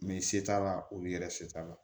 Mɛ se t'a la olu yɛrɛ se t'a la